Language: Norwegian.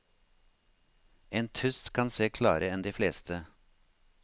En tust kan se klarere enn de fleste.